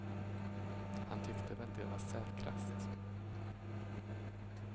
Han tyckte väl det var säkrast.